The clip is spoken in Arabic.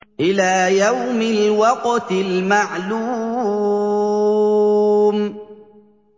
إِلَىٰ يَوْمِ الْوَقْتِ الْمَعْلُومِ